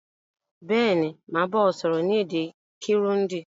Béèni, màá ba ọ sọ́rọ́ ni èdè Kirundi